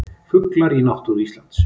Fuglar í náttúru Íslands.